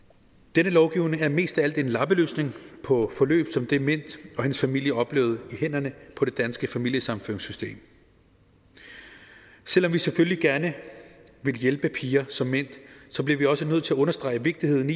denne lovgivning er mest af alt en lappeløsning på et forløb som det mint og hendes familie oplevede i hænderne på det danske familiesammenføringssystem selv om vi selvfølgelig gerne vil hjælpe piger som mint bliver vi også nødt til at understrege vigtigheden